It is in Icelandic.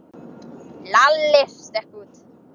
Lalli stökk út.